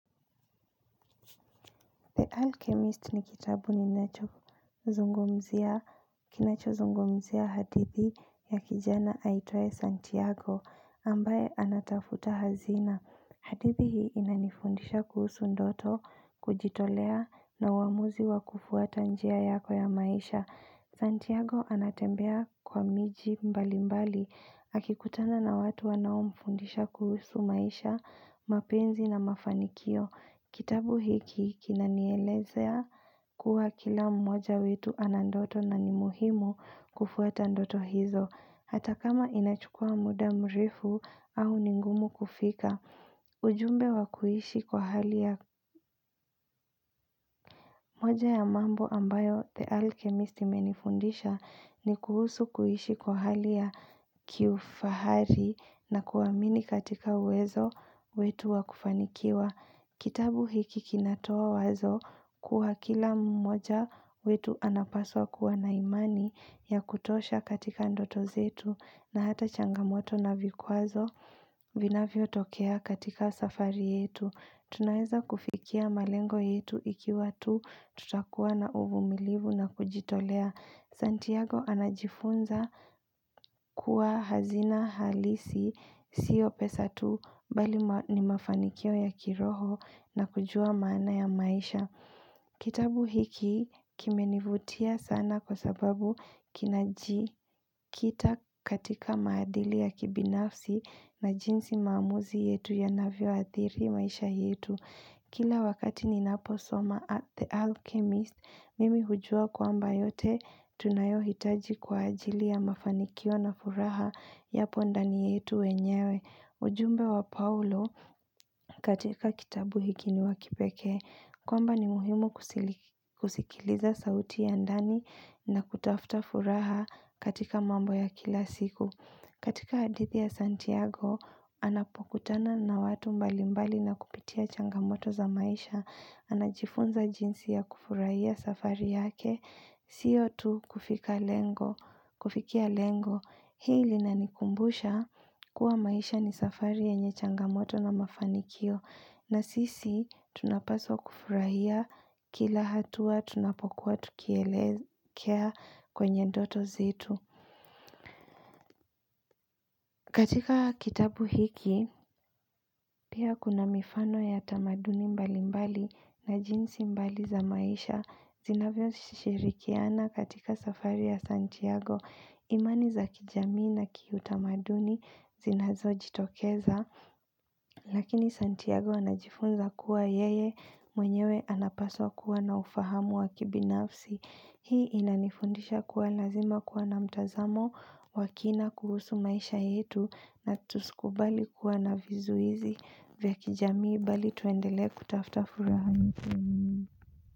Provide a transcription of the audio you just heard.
The Alchemist ni kitabu ninacho zungumzia kinacho zungumzia hadithi ya kijana aitwaye Santiago ambaye anatafuta hazina. Hadithi hii inanifundisha kuhusu ndoto, kujitolea na uamuzi wa kufuata njia yako ya maisha. Santiago anatembea kwa miji mbali mbali. Akikutana na watu wanaomfundisha kuhusu maisha, mapenzi na mafanikio. Kitabu hiki kinanielezea kuwa kila mmoja wetu ana ndoto na ni muhimu kufuata ndoto hizo. Hata kama inachukua muda mrefu au ni ngumu kufika. Ujumbe wa kuishi kwa hali ya. Moja ya mambo ambayo "The Alchemist" imenifundisha ni kuhusu kuishi kwa hali ya kiufahari na kuamini katika uwezo wetu wa kufanikiwa. Kitabu hiki kinatoa wazo kuwa kila mmoja wetu anapaswa kuwa na imani ya kutosha katika ndoto zetu na hata changamoto na vikwazo vinavyotokea katika safari yetu. Tunaeza kufikia malengo yetu ikiwa tu tutakuwa na uvumilivu na kujitolea. Santiago anajifunza kuwa hazina halisi siyo pesa tu bali ma ni mafanikio ya kiroho na kujua maana ya maisha. Kitabu hiki kimenivutia sana kwa sababu kinajikita katika maadhili ya kibinafsi na jinsi maamuzi yetu yanavyo adhiri maisha yetu. Kila wakati ninaposoma at "the Alchemist", mimi hujua kwamba yote tunayohitaji kwa ajili ya mafanikio na furaha yapo ndani yetu wenyewe. Ujumbe wa Paulo katika kitabu hiki ni wa kipekee. Kwamba ni muhimu kusili kusikiliza sauti ya ndani na kutafuta furaha katika mambo ya kila siku. Katika hadithi ya Santiago, anapokutana na watu mbalimbali na kupitia changamoto za maisha, anajifunza jinsi ya kufurahia safari yake Siyo tu kufika lengo, kufikia lengo, hii linanikumbusha kuwa maisha ni safari yenye changamoto na mafanikio, na sisi tunapaswa kufurahia kila hatua tunapokuwa tukielekea kwenye ndoto zetu katika kitabu hiki, pia kuna mifano ya tamaduni mbalimbali na jinsi mbali za maisha zinavyoshirikiana katika safari ya Santiago, imani za kijamii na kiutamaduni zinazojitokeza. Lakini Santiago anajifunza kuwa yeye mwenyewe anapaswa kuwa na ufahamu wa kibinafsi. Hii inanifundisha kuwa lazima kuwa na mtazamo wa kina kuhusu maisha yetu na tusikubali kuwa na vizuizi vya kijamii bali tuendele kutafta furaha.